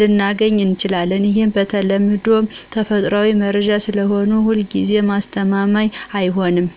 ልናገኝ እንችላለን። ይህም በተለምዶ ተፈጥሯዊ መረጃ ስለሆነ ሁልጊዜ አስተማማኝ አይሆንም።